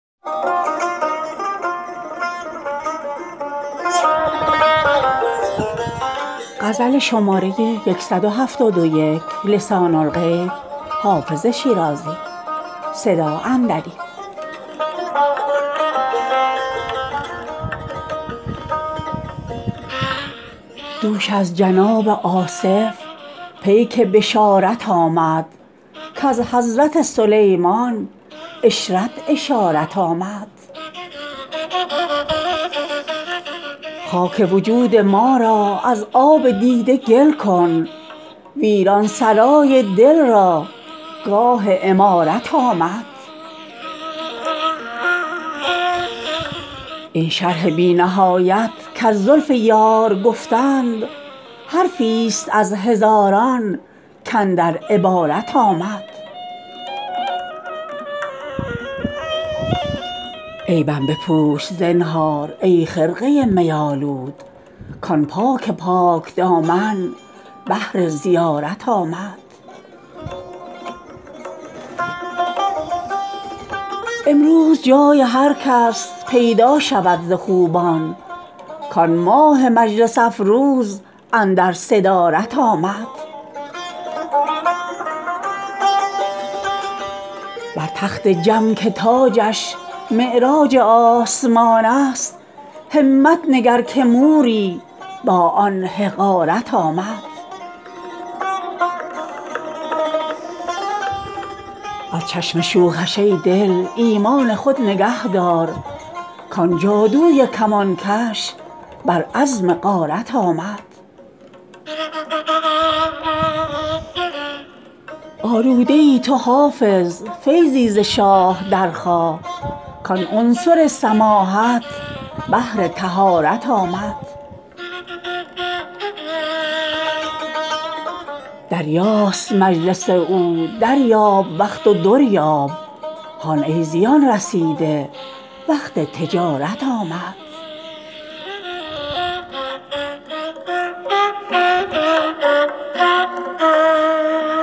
دوش از جناب آصف پیک بشارت آمد کز حضرت سلیمان عشرت اشارت آمد خاک وجود ما را از آب دیده گل کن ویران سرای دل را گاه عمارت آمد این شرح بی نهایت کز زلف یار گفتند حرفی ست از هزاران کاندر عبارت آمد عیبم بپوش زنهار ای خرقه می آلود کآن پاک پاک دامن بهر زیارت آمد امروز جای هر کس پیدا شود ز خوبان کآن ماه مجلس افروز اندر صدارت آمد بر تخت جم که تاجش معراج آسمان است همت نگر که موری با آن حقارت آمد از چشم شوخش ای دل ایمان خود نگه دار کآن جادوی کمانکش بر عزم غارت آمد آلوده ای تو حافظ فیضی ز شاه درخواه کآن عنصر سماحت بهر طهارت آمد دریاست مجلس او دریاب وقت و در یاب هان ای زیان رسیده وقت تجارت آمد